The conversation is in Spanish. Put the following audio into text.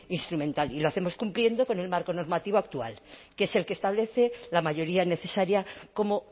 instrumental y lo hacemos cumpliendo con el marco normativo actual que es el que establece la mayoría necesaria como